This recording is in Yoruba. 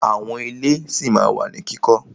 Àwọn ilé ṣí ma wà ní kíkọ́.